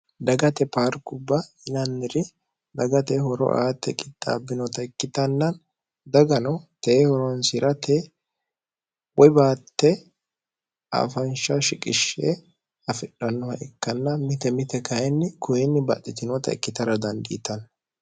dagate parkubba yilanniri dagate horo aatte qixxaabbinota ikkitannaan dagano teehoronsirate woy baatte afansha shiqishshee afidhannoha ikkanna mite mite kayinni kuyinni baxxitinota ikkitara dandiitanno